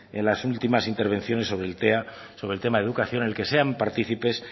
en las últimas intervenciones sobre el tema de educación en el que sean partícipes